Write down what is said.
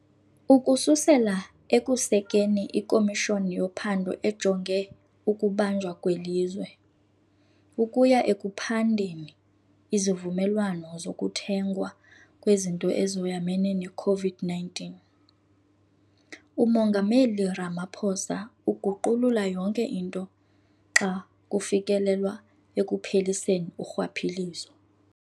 Ukususela ekusekeni iKomishoni yoPhando ejonge ukuBanjwa kweLizwe, ukuya ekuphandeni izivumelwano zokuthengwa kwezinto ezoyamene ne-COVID-19, uMongameli Ramaphosa uguqulula yonke into xa kufikelelwa ekupheliseni urhwaphilizo.